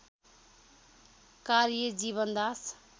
कार्य जीवनदास